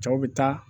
Cɛw bɛ taa